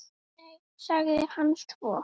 Nei- sagði hann svo.